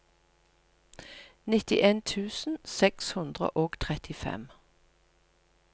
nittien tusen seks hundre og trettifem